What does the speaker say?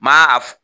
Ma a